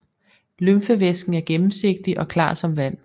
Lymfevæsken er gennemsigtig og klar som vand